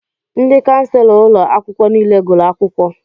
Ndị kànselọ ụlọ akwụkwọ niile gụrụ akwụkwọ